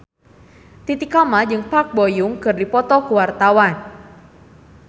Titi Kamal jeung Park Bo Yung keur dipoto ku wartawan